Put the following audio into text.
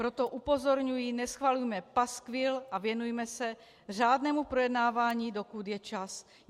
Proto upozorňuji, neschvalujme paskvil a věnujme se řádnému projednávání, dokud je čas.